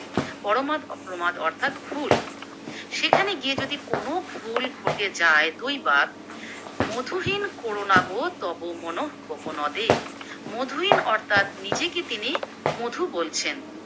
পর মাদ প্রমাদ অর্থাৎ ভুল । সেখানে গিয়ে যদি কোনো ভুল ঘটে যায় দুইবার, মধুহীন কোরো নাগো তব মনঃকোকনদে, মধুহীন অর্থাৎ নীজেকে তিনি মধু বলছেন।